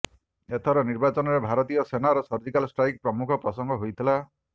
ଏଥର ନିର୍ବାଚନରେ ଭାରତୀୟ ସେନାର ସର୍ଜିକାଲ ଷ୍ଟ୍ରାଇକ୍ ପ୍ରମୁଖ ପ୍ରସଙ୍ଗ ହୋଇଥିଲା